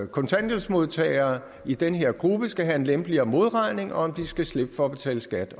kontanthjælpsmodtagere i den her gruppe skal have en lempeligere modregning og skal slippe for at betale skat